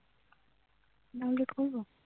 download করবো